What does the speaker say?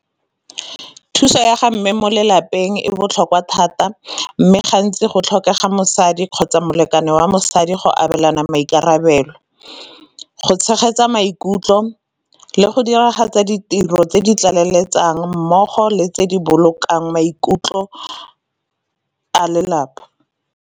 Thuso ya ga mme mo lelapeng e botlhokwa thata, mme gantsi go tlhokega mosadi kgotsa molekane wa mosadi go abelana maikarabelo. Go tshegetsa maikutlo le go diragatsa ditiro tse di tlaleletsang mmogo le tse di bolokang maikutlo a lelapa.